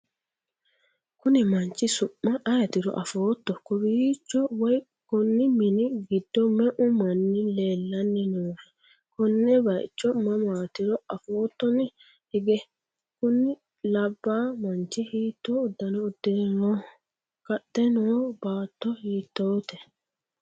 konni manchi su'ma ayeetiro afootto? kowiicho woy konni mini giddo me'u manni leellanni noohe? konne bayicho mamaatiro afoottoni hige? kuni labba manchi hiitto uddano uddire nooho? kaxxe no baatto hiittoote?